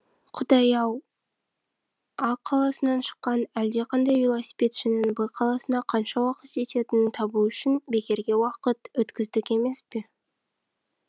құдай ау а қаласынан шыққан әлдеқандай велосипедшінің б қаласына қанша уақытта жететінін табу үшін бекерге уақыт өткіздік емес пе